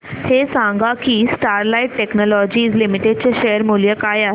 हे सांगा की स्टरलाइट टेक्नोलॉजीज लिमिटेड चे शेअर मूल्य काय आहे